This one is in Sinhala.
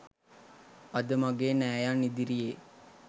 අද මගේ නෑයන් ඉදිරියේ